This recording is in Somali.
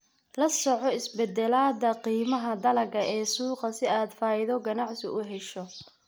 La soco isbeddelada qiimaha dalagga ee suuqa si aad faa'iido ganacsi u hesho.